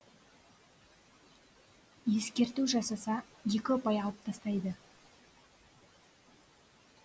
ескерту жасаса екі ұпай алып тастайды